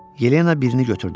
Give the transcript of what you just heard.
Yelena birini götürdü.